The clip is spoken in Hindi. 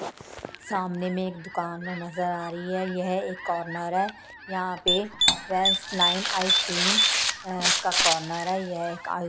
सामने में एक दुकान नजर आ रही है यह एक कॉर्नर है यहां पे वेंस लाइन आइसक्रीम का कॉर्नर है यह आइ --